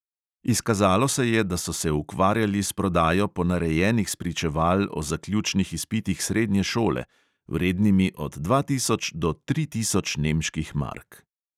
Izkazalo se je, da so se ukvarjali s prodajo ponarejenih spričeval o zaključnih izpitih srednje šole, vrednimi od dva tisoč do tri tisoč nemških mark.